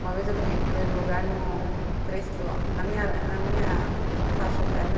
Uma vez eu ganhei o primeiro lugar no três quilômetros, na minha na minha faixa etária, né?